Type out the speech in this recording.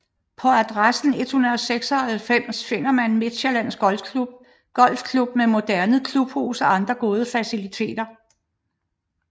På adressen 196 finder man Midtsjællands Golfklub med moderne klubhus og andre gode faciliteter